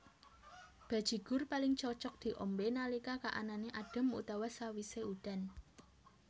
Bajigur paling cocok diombé nalika kaanané adhem utawa sawisé udan